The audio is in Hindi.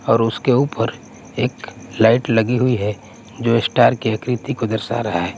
और उसके ऊपर एक लाइट लगी हुई है जो स्टार की आकृति को दर्शा रहा है।